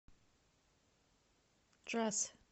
джаз